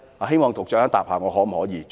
希望局長稍後回應我。